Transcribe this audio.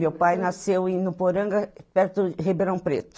Meu pai nasceu em Nuporanga, perto de Ribeirão Preto.